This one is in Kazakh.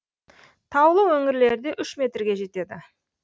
таулы өңірлерде үш метрге жетеді